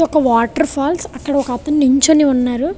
ఒక water falls అక్కడొకతను నించొని ఉన్నారు.